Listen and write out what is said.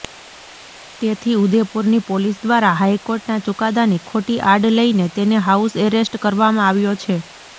તેથી ઉદેપુરની પોલીસ દ્વારા હાઇકોર્ટના ચુકાદાની ખોટી આડ લઇને તેને હાઉસ એરેસ્ટ કરવામાં આવ્યો છે